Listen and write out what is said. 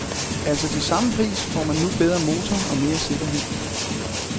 Altså, til samme pris får man nu bedre motor og mere sikkerhed.